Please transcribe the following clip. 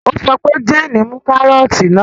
Ó sọ pé 'Jane mú kárọ́tì náà!